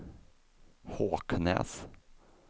Håknäs